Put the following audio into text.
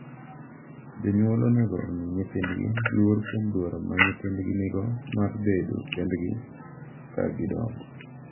Jonyuol onego omi nyithindgi luor kuom dwaro ma nyithindgi nigo mar bedo kendgi ka gidongo,